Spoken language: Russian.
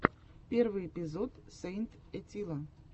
первый эпизод сэйнт этилла